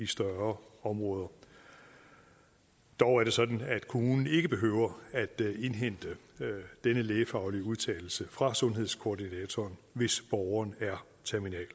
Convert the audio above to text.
større områder dog er det sådan at kommunen ikke behøver at indhente denne lægefaglige udtalelse fra sundhedskoordinatoren hvis borgeren er terminalt